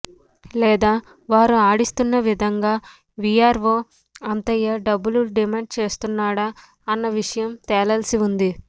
లేదా వారు ఆడిస్తున్న విధంగా విఆర్ఓ అంతయ్య డబ్బులు డిమాండ్ చేస్తున్నాడా అన్న విషయం తేలాల్సి ఉంది